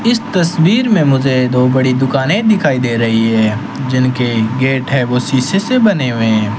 इस तस्वीर में मुझे दो बड़ी दुकानें दिखाई दे रही है जिनके गेट है वो शीशे से बने हुए हैं।